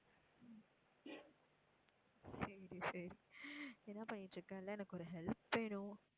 சரி, சரி, என்ன பண்ணிட்டு இருக்க. இல்லை எனக்கு ஒரு help வேணும்.